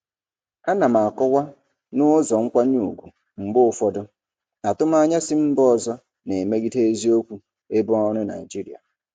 Ana m akọwa n'ụzọ nkwanye ùgwù mgbe ụfọdụ atụmanya si mba ọzọ na-emegide eziokwu ebe ọrụ Naịjirịa.